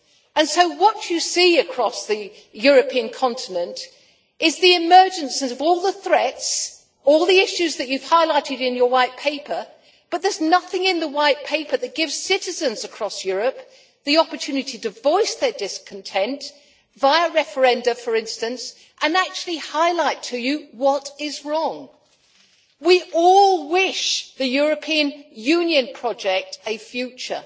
And so what you see across the European continent is the emergence of all the threats and all the issues that you have highlighted in your White Paper, but there is nothing in the White Paper that gives citizens across Europe the opportunity to voice their discontent via referenda, for instance and actually highlight to you what is wrong. We all wish the European Union project a future.